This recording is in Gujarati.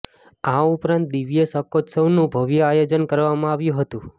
આ ઉપરાંત દિવ્ય શાકોત્સવનું ભવ્ય આયોજન કરવામાં આવ્યું હતું